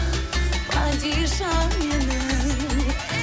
падишам менің